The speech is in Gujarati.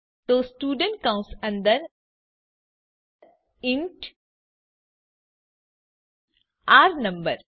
તો સ્ટુડન્ટ કૌંસ અંદર ઇન્ટ આર નંબર